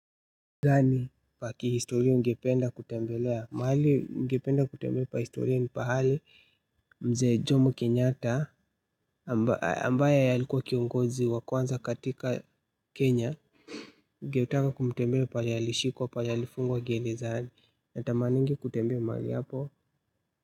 Gani paki ya historia ungependa kutembelea? Mahali ningependa kutembela pa historia ni pahali mzee Jomo Kenyata ambaye alikuwa kiongozi wa kwanza katika Kenya. Ningetaka kutembea pahali alishikwa pahali alifungwa gerezani huwa natamani kutembea mahali hapo.